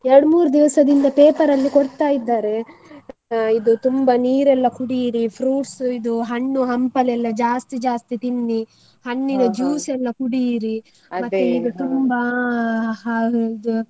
ಎರಡ್ಮೂರು ದಿವಸದಿಂದ paper ಅಲ್ಲಿ ಕೊಡ್ತಾ ಇದ್ದಾರೆ, ಆ ಇದು ತುಂಬಾ ನೀರೆಲ್ಲ ಕುಡಿಯಿರಿ, fruits ಇದು ಹಣ್ಣು ಹಂಪಲೆಲ್ಲ ಜಾಸ್ತಿ ಜಾಸ್ತಿ ತಿನ್ನಿ, ಎಲ್ಲ ಕುಡಿಯಿರಿ ಈಗ ತುಂಬಾ ಆ ಇದು.